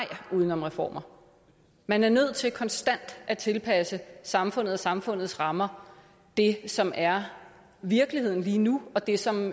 uden om reformer man er nødt til konstant at tilpasse samfundet og samfundets rammer det som er virkeligheden lige nu og det som